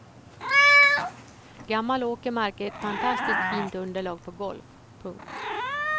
Gammal åkermark är ett fantastiskt fint underlag för golf. punkt